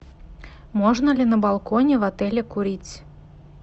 можно ли на балконе в отеле курить